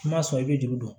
I m'a sɔn i bɛ juru don